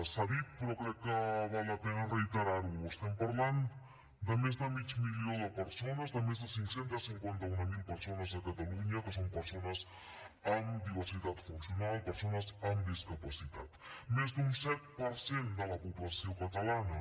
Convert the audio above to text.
s’ha dit però crec que val la pena reiterar ho estem parlant de més de mig milió de persones de més de cinc cents i cinquanta mil persones a catalunya que són persones amb diversitat funcional persones amb discapacitat més d’un set per cent de la població catalana